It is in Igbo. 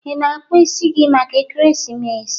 Ị na-akpụ isi gị maka Ekeresimesi?